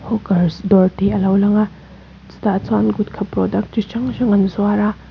hookers dawr tih alo lang a chutah chuan gutka product chi hrang hrang an zuar a.